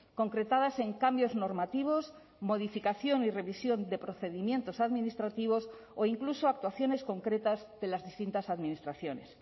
concretadas en cambios normativos modificación y revisión de procedimientos administrativos o incluso actuaciones concretas de las distintas administraciones